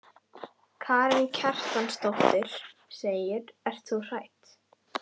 Karen Kjartansdóttir: Ert þú hrædd?